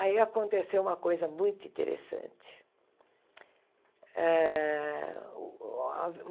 Aí aconteceu uma coisa muito interessante. Ah